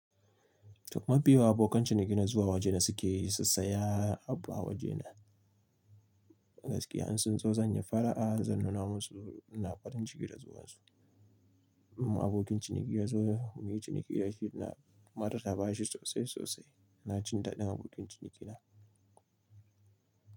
Duk mafi yawan abokan cinikina zuwa waje na suke sassa ya abba waje na. Gaskiya in sun zo zan yi fara'a zan nuna musu ina farin ciki da zuwan su. Abokin ciniki ya zo mun yi ciniki yashi na matar ta ba shi sosai sosai. Na cin daɗin abokin ciniki na.